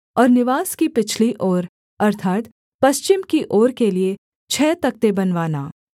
और निवास की पिछली ओर अर्थात् पश्चिम की ओर के लिए छः तख्ते बनवाना